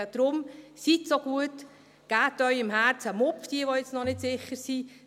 Deshalb, seien Sie so gut, geben Sie Ihrem Herzen einen Ruck, diejenigen, die noch nicht sicher sind.